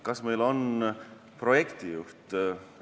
Kas meil on projektijuht?